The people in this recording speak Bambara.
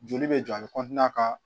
Joli bɛ jɔ a bi ka